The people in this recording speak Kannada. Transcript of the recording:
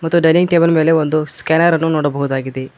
ಮತ್ತು ಡೈನಿಂಗ್ ಟೇಬಲ್ ಮೇಲೆ ಒಂದು ಸ್ಕ್ಯಾನರ್ ಅನ್ನು ನೋಡಬಹುದಾಗಿದೆ.